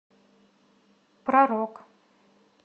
про рок